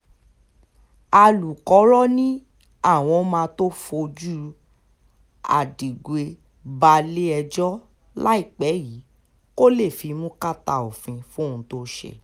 alūkkóró ni àwọn máa tóó fojú adigwe balẹ̀-ẹjọ́ láìpẹ́ yìí kó lè fimú kàtà òfin fóhun tó ṣe